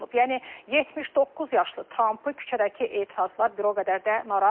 Yəni 79 yaşlı Trampı küçədəki etirazlar bir o qədər də narahat etmir.